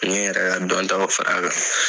N bɛ n yɛrɛ ka dɔntaw fara a kan.